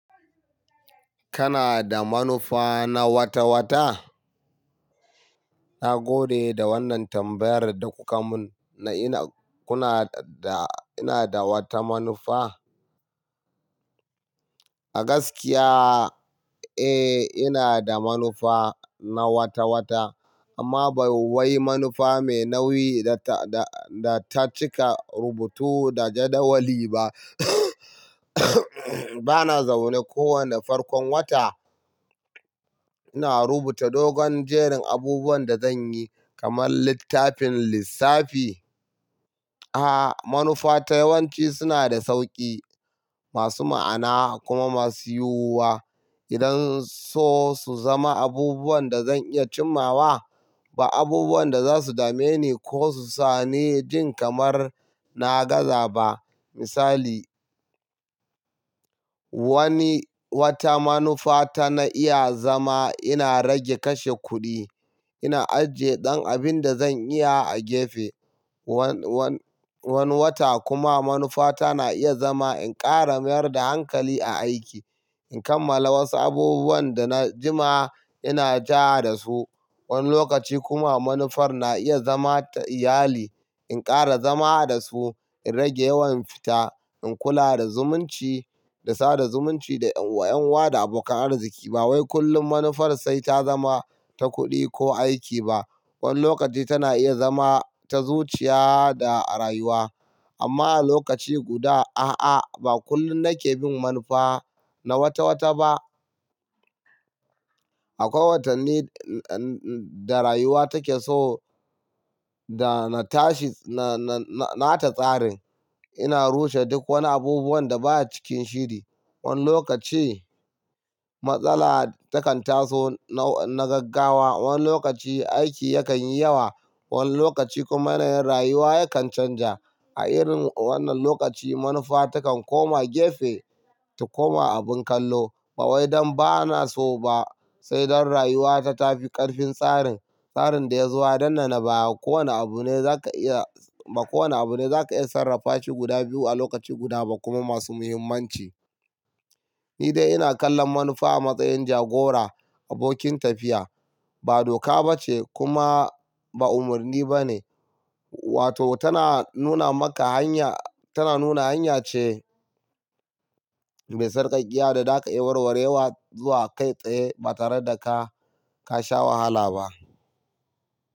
Kana da manufa na wata-wata? Na gode da wannan tambayar da kuka mun na ina kuna da ina da wata manufa. A gaskiya, eh, ina da manufa na wata-wata amma bai wai manufa mai nauyi da ta da ta cika rubutu da jadawali ba. Bana zaune kowane farkon wata ina rubuta dogon jerin abubuwan da zan yi kamar littafin lissafi. A'a, manufa ta yawanci suna da sauki, masu ma'ana kuma masu yiwuwa. Idan so su zama abubuwan da zan iya cimawa ba abubuwan da za su dame ni ko su sa ni jin kamar na gaza ba. Misali, wani wata manufa ta na iya zama ina rage kashe kuɗi, ina ajiye ɗan abin da zan iya a gefe. Wani wata kuma manufa ta na iya zama in ƙara mayar da hankali a aiki, in kammala wasu abubuwan da na jima ina ja da su. Wani lokaci kuma manufar na iya zama ta iyali, in ƙara zama da su, in rage yawan fita, in kula da zumunci, da sada zumunci da ƴan wa da abokan arziki. Ba wai kullum manufar sai ta zama ta kuɗi ko aiki ba. Wani lokaci tana iya zama ta zuciya da rayuwa. Amma a lokaci guda, a'a, ba kullum nake bin manufa na wata-wata ba. Akwai watanni da rayuwa take so da na tashi na na ta tsarin. Ina rushe duk wani abubuwan da baya cikin shiri. Wani lokaci matsala takan taso na gaggawa, wani lokaci aiki yakan yi yawa, wani lokaci kuma yanayin rayuwa yakan canja. A irin wannan lokaci, manufa takan koma gefe, ta koma abin kallo. Ba wai don ba na so ba, sai don rayuwa ta tafi ƙarfin tsarin. Tsarin da ya zo a danne baya. Ko wane abu ne za ka iya b ko wane abu ne za ka iya sarrafa shi guda biyu a lokaci guda ba kuma masu muhimmanci. Ni dai ina kallon manufa a matsayin jagora, abokin tafiya. Ba doka ba ce kuma ba umarni ba ne. Wato tana nuna maka hanya, tana nuna hanya ce mai sarƙaƙƙiya da za ka iya warwarewa zuwa kai tsaye ba tare da ka ka sha wahala ba.